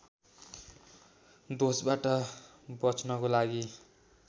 दोषबाट बच्नको लागि